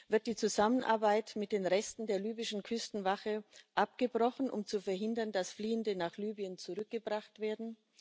Wird die Zusammenarbeit mit den Resten der libyschen Küstenwache abgebrochen, um zu verhindern, dass Fliehende nach Libyen zurückgebracht werden?